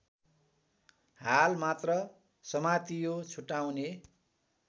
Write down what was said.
हालमात्र समातियो छुटाउने